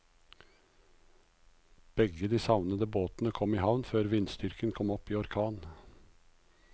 Begge de savnede båtene kom i havn før vindstyrken kom opp i orkan.